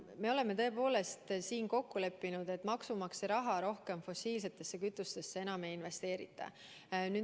Me oleme tõepoolest kokku leppinud, et maksumaksja raha rohkem fossiilsetesse kütustesse ei investeerita.